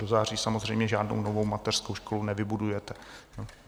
Do září samozřejmě žádnou novou mateřskou školu nevybudujete.